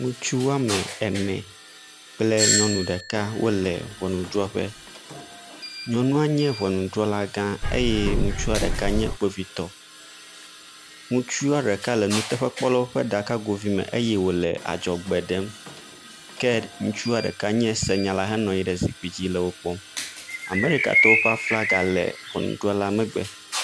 Ŋutsu woame ene le ŋɔnudrɔƒe, nyɔnua nye ŋɔnudrɔla gã eye ŋutsu ɖeka nye kpovitɔ. Ŋutsua ɖeka le nuteƒekpɔwolawo ƒe aɖakago vi me wòle adzɔgbe ɖem ke ŋutsua ɖeka nye senyala henɔ anyi ɖe zikpui dzi le wo kpɔm. Amɛrikatɔwo ƒe aflaga le ŋɔnudrɔla megbe.